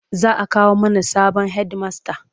Za a kawo mana sabon hedimasta.